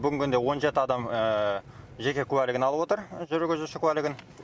бүгінгі күнде он жеті адам жеке куәлігін алып отыр жүргізуші куәлігін